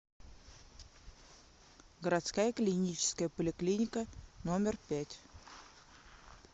городская клиническая поликлиника номер пять